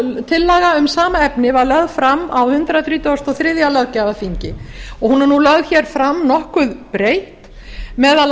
tillaga um sama efni var lögð fram á hundrað þrítugasta og þriðja löggjafarþingi hún er nú lögð fram nokkuð breytt meðal